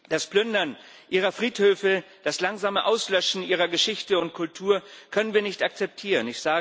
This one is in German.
Das Plündern ihrer Friedhöfe, das langsame Auslöschen ihrer Geschichte und Kultur können wir nicht akzeptieren.